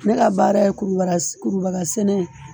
Ne ka baara ye kurubagasɛnɛ ye.